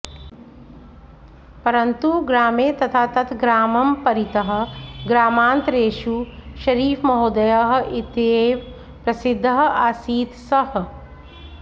परन्तु ग्रामे तथा तत् ग्रामं परितः ग्रामान्तरेषु शरीफमहोदयः इत्येव प्रसिद्धः आसीत् सः